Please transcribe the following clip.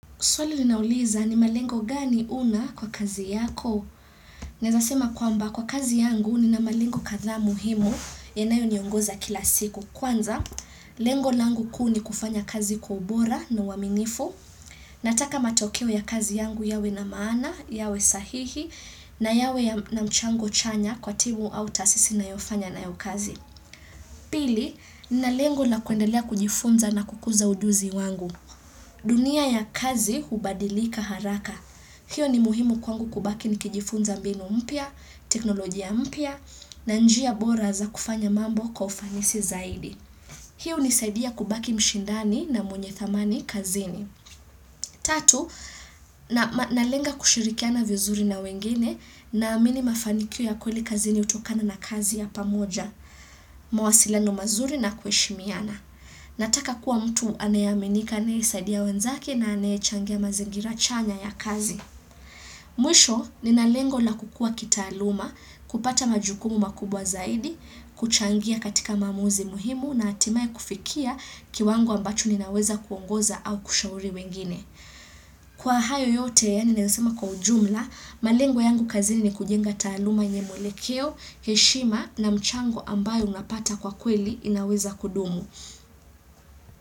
Swali ninauliza ni malengo gani una kwa kazi yako? Naezasema kwamba kwa kazi yangu nina malengo katha muhimu yanayo niongoza kila siku. Kwanza, lengo langu kuu ni kufanya kazi kwa ubora na waminifu. Nataka matokeo ya kazi yangu yawe na maana, yawe sahihi na yawe na mchango chanya kwa timu au tasisi nayofanya na yo kazi. Pili, nina lengo na kuendelea kujifunza na kukuza ujuzi wangu. Dunia ya kazi hubadilika haraka. Hiyo ni muhimu kwangu kubaki nikijifunza mbinu mpia, teknolojia mpia na njia bora za kufanya mambo kwa kufanisi zaidi. Hiyo unisaidia kubaki mshindani na mwenye thamani kazini. Tatu, nalenga kushirikiana vizuri na wengine naamini mafanikio ya kweli kazini utokana na kazi ya pamoja, mawasilano mazuri na kweshimiana. Nataka kuwa mtu anayaminika anayisaidiya wenzake na anayechangia mazingira chanya ya kazi. Mwisho, ninalengo la kukua kitaaluma, kupata majukumu makubwa zaidi, kuchangia katika mamuzi muhimu na hatimae kufikia kiwangu ambacho ninaweza kuongoza au kushauri wengine. Kwa hayo yote naezasema kwa ujumla, malengo yangu kazini ni kujenga taluma yenye mwelekeo, heshima na mchango ambayo unapata kwa kweli inaweza kudumu.